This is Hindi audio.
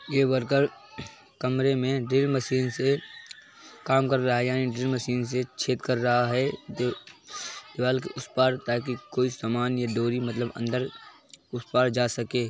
ये वर्कर कमरे में ड्रिल मशीन से काम कर रहा है यानि ड्रिल मशीन से छेद कर रहा है दे दीवाल के उस पार ताकि कोई सामान डोरी मतलब अंदर उस पार जा सके।